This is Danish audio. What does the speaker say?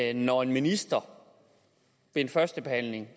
er når en minister ved en første behandling